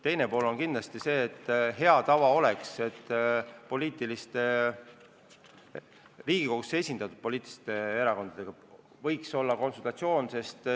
Teiseks oleks hea tava kindlasti see, et Riigikogus esindatud erakondadega võiks olla konsultatsioonid.